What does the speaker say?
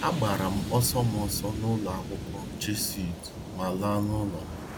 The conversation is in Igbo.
Agbara m ọsọ m ọsọ nụlọ akwụkwọ Jesuit ma laa nụlọ m.